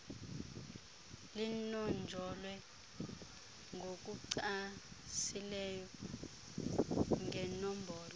linonjolwe ngokucacileyo ngenombolo